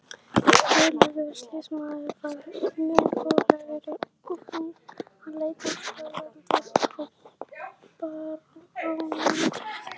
Guðlaugur sýslumaður var mun rólegri, hann leit afsakandi á baróninn.